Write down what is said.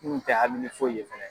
N kun tɛ hami ni foyi fɛnɛ.